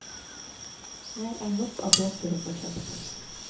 Her er nok av båter å få kjøpt.